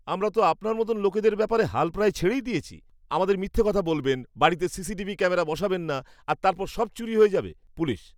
আমরা তো আপনার মতো লোকদের ব্যাপারে হাল প্রায় ছেড়েই দিয়েছি, আমাদের মিথ্যে কথা বলবেন, বাড়িতে সিসিটিভি ক্যামেরা বসাবেন না আর তারপর সব চুরি হয়ে যাবে। পুলিশ